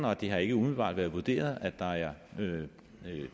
og det har ikke umiddelbart været vurderingen at der er